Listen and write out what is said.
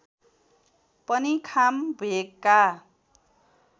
पनि खाम भेगका